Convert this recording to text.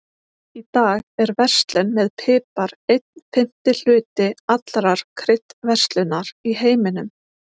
Í dag er verslun með pipar einn fimmti hluti allrar kryddverslunar í heiminum.